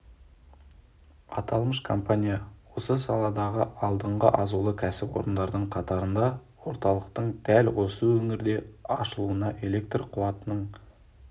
аталмыш компания осы саладағы алдыңғы азулы кәсіпорындардың қатарында орталықтың дәл осы өңірде ашылуына электр қуатының